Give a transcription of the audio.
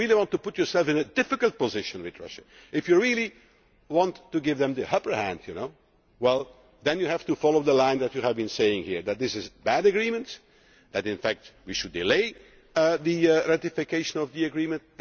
If you really want to put yourself in a difficult position with Russia, if you really want to give them the upper hand, then you have to follow the line you have been voicing here, that this is a bad agreement, that in fact we should delay ratification of the agreement.